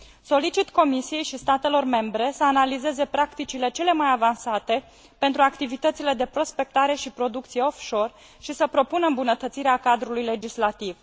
Solicit Comisiei și statelor membre să analizeze practicile cele mai avansate pentru activitățile de prospectare și producție offshore și să propună îmbunătățirea cadrului legislativ.